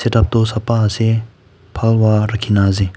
tatto sapha ase Phalva rakhi kina ase.